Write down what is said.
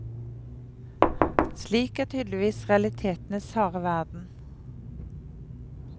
Slik er tydeligvis realitetenes harde verden.